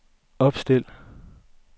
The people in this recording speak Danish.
opstil